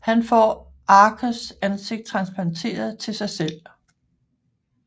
Han får Archers ansigt transplanteret til sig selv